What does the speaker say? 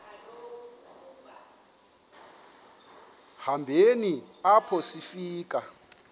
hambeni apho sifika